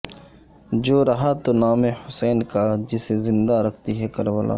جو رہا تو نام حسین کا جسے زندہ رکھتی ہے کربلا